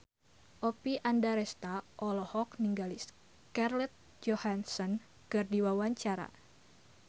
Oppie Andaresta olohok ningali Scarlett Johansson keur diwawancara